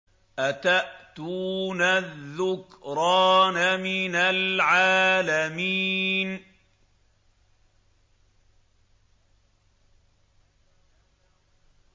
أَتَأْتُونَ الذُّكْرَانَ مِنَ الْعَالَمِينَ